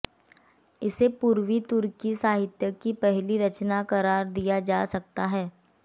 इसे पूर्वी तुर्की साहित्य की पहली रचना क़रार दिया जा सकता है